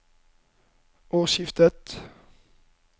årsskiftet